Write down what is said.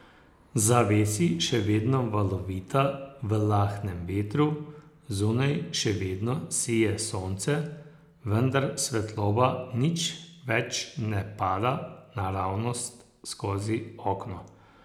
Zavesi še vedno valovita v lahnem vetru, zunaj še vedno sije sonce, vendar svetloba nič več ne pada naravnost skozi okno.